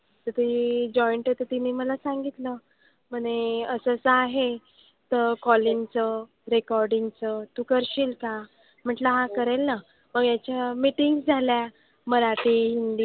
तर ते joint आहे तर तिने मला सांगितलं म्हणे असं असं आहे. तर calling चं, recording चं. तू करशील का? म्हंटलं हां करेन ना. मग ह्याच्या meetings झाल्या. मराठी, हिंदी.